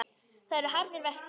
Það eru harðir verkir.